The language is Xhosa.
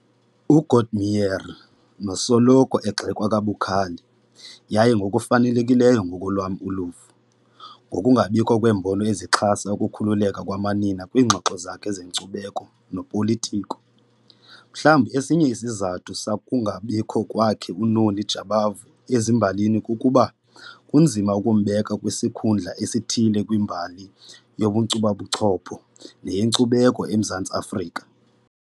UGordimer nosoloko egxekwa kabukhali, yaye ngokufanelekileyo ngokwelam uluvo, ngokungabikho kweembono ezixhasa ukukhululeka kwamanina kwiingxoxo zakhe zenkcubeko nopolitiko. Mhlawumbi esinye isizathu sokungabikho kwakhe uNoni Jabavu ezimbalini kukuba kunzima ukumbeka kwisikhundla esithile kwimbali yobunkcubabuchopho neyenkcubeko eMzantsi Afrika.